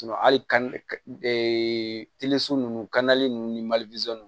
hali ka nunnu nunnu ni mali